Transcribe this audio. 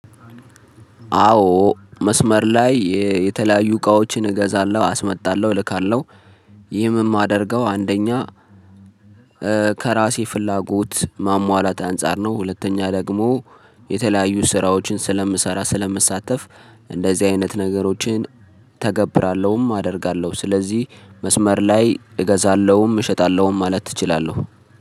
አዎ መስመር ላይ የተለያዩ እቃዎችን እገዛለው አስመጣለው እልካለው ይህም የማደርገው አንደኛ። ከራሴ ፍላጎት ማሟላት አንፃር ነው ሁለተኛ ደግሞ የተለያዩ ስራዎችን ስለምሰራ ስለምሳተፍ እንደዚህ አይነት ነገሮችን። አደርጋለሁ ስለዚህ መስመር ላይ እገዛለሁም እሸጣለሁም ማለት እችላለሁ።